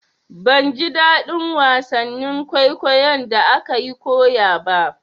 Ban ji daɗin wasannin kwaikwayon da akayi koya ba.